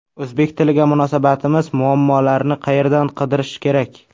O‘zbek tiliga munosabatimiz: muammolarni qayerdan qidirish kerak?.